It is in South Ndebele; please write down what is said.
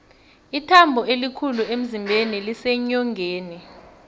ithambo elikhulu emzimbeni liseenyongeni